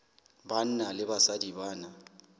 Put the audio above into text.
banna le basadi ba na